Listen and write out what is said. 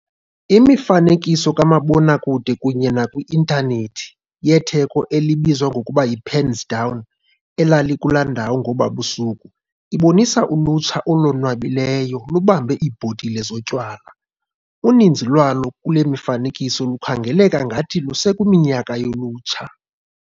Imifanekiso kamabonakude kunye nakwi-intanethi yetheko elibizwa ngokuba 'yi-pens down' elalikula ndawo ngoba busuku ibonisa ulutsha olonwabileyo lubambe iibhotile zotywala. Uninzi lwalo kule mifanekiso lukhangeleka ngathi lusekwiminyaka yolutsha.